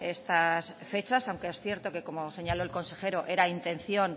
estas fechas aunque es cierto que como señaló el consejero era intención